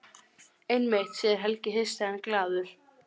Einmitt, segir Helgi hissa en glaður.